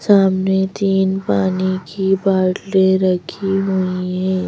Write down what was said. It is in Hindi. सामने तीन पानी की बाल्टी रखी हुई है।